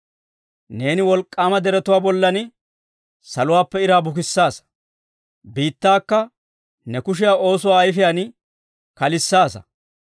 Neeni wolk'k'aama deretuwaa bollan saluwaappe iraa bukissaasa; biittakka ne kushiyaa oosuwaa ayifiyaan kalissaasa.